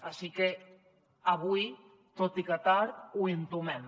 així que avui tot i que tard ho entomem